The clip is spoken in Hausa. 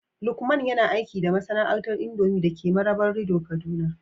Lukman yana aiki da masana'antar indomie dake Marabarido, kaduna